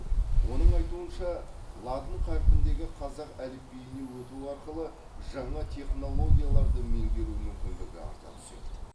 оның айтуынша латын қарпіндегі қазақ әліпбиіне өту арқылы жаңа технологияларды меңгеру мүмкіндігі арта түседі